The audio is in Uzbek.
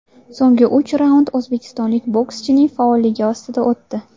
So‘nggi uch raund o‘zbekistonlik bokschining faolligi ostida o‘tdi.